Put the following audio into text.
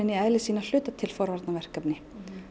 í eðli sínu að hluta til forvarnarverkefni